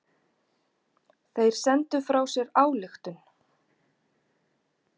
Þeir sendu frá sér ályktun.